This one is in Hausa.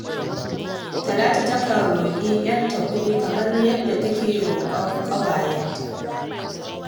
Talatu takan roƙi ‘yarta kuɗi kamar yadda take roƙan ƙawayenta.